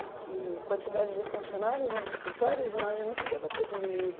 Porque a quantidade de funcionários nos escritórios, imagino que deva ter diminuído.